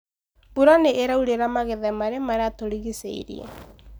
mbũra nĩ ĩraurĩra magetha maria matũrigicĩirie.